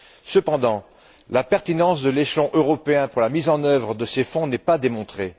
Cependant, la pertinence de l'échelon européen pour la mise en œuvre de ces fonds n'est pas démontrée.